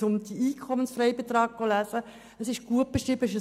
Das ist ein hochkomplexes Thema und gut beschrieben.